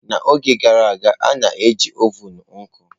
N'oge gara aga, a na-eji ovun nkụ.